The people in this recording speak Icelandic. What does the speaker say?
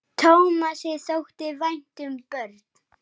Tómasi þótti vænt um börn.